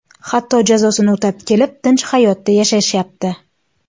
Hatto jazosini o‘tab kelib, tinch hayotda yashashyapti.